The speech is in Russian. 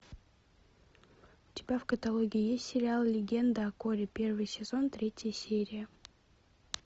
у тебя в каталоге есть сериал легенда о корре первый сезон третья серия